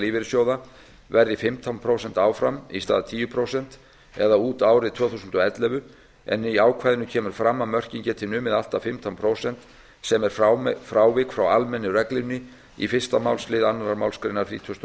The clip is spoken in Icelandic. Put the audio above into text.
lífeyrissjóða verði fimmtán prósent áfram í stað tíu prósent eða út árið tvö þúsund og ellefu en í ákvæðinu kemur fram að mörkin geti numið allt að fimmtán prósent sem er frávik frá almennu reglunni í fyrsta málslið annarrar málsgreinar þrítugustu og